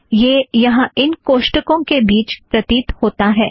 यह यहाँ इन कोष्ठकों के बीच प्रतीत होता है